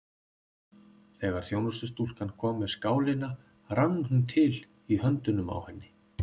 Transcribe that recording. Þegar þjónustustúlkan kom með skálina rann hún til í höndunum á henni.